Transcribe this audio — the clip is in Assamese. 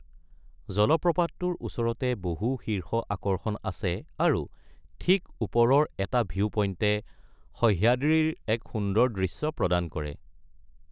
জলপ্ৰপাতটোৰ ওচৰতে বহু শীৰ্ষ আকৰ্ষণ আছে আৰু ঠিক ওপৰৰ এটা ভিউ পইণ্টে সহ্যাদ্ৰীৰ এক সুন্দৰ দৃশ্য প্ৰদান কৰে।